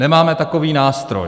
Nemáme takový nástroj.